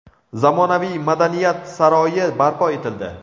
zamonaviy madaniyat saroyi barpo etildi.